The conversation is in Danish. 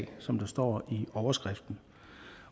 som der står i overskriften